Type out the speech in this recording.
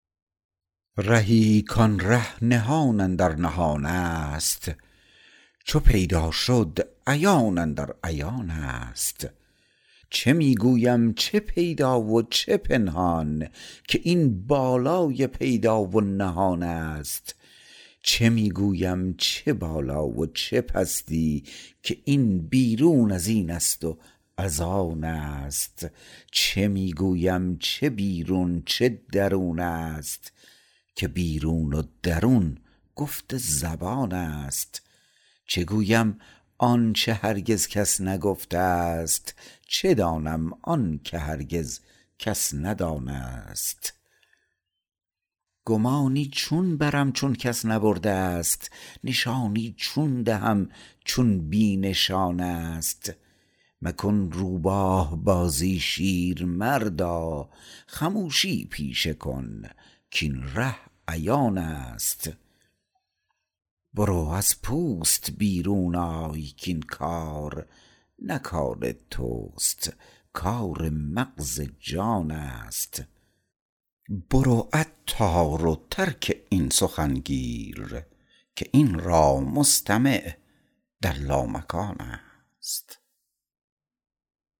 رهی کان ره نهان اندر نهان است چو پیدا شد عیان اندر عیان است چه می گویم چه پیدا و چه پنهان که این بالای پیدا و نهان است چه می گویم چه بالا و چه پستی که این بیرون ازین است و از آن است چه می گویم چه بیرون چه درون است که بیرون و درون گفت زبان است چه گویم آنچه هرگز کس نگفته است چه دانم آنکه هرگز کس ندان است گمانی چون برم چون کس نبرده است نشانی چون دهم چون بی نشان است مکن روباه بازی شیر مردا خموشی پیشه کن کاین ره عیان است برو از پوست بیرون آی کاین کار نه کار توست کار مغز جان است برو عطار و ترک این سخن گیر که این را مستمع در لامکان است